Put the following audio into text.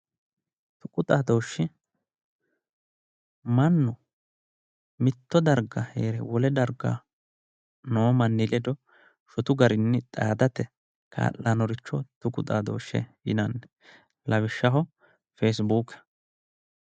Tuqu xaadooshshi mannu mitto darga hee're wole darga noo manni ledo shotu garinni xaadate kaa'lannoricho tuqu xaadooshshe yinanni lawishshaho, feesibuuke.